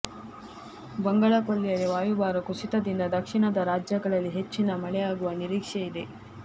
ಬಂಗಾಳ ಕೊಲ್ಲಿಯಲ್ಲಿ ವಾಯುಭಾರ ಕುಸಿತದಿಂದ ದಕ್ಷಿಣದ ರಾಜ್ಯಗಳಲ್ಲಿ ಹೆಚ್ಚಿನ ಮಳೆಯಾಗುವ ನಿರೀಕ್ಷೆ ಇದೆ